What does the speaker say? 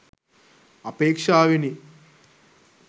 අපේක්ෂාවෙනි.